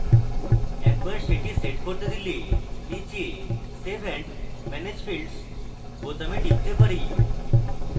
একবার set set করলে দিলে তারপর নীচে save and manage fields বোতামে টিপতে পারি